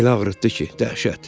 Elə ağrıtdı ki, dəhşət.